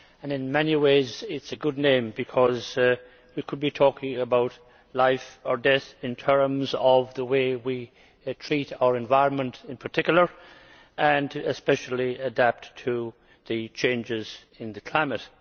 In many ways it is a good name, because we could be talking about life or death in terms of the way we treat our environment, in particular, and especially how we adapt to the changes in the climate.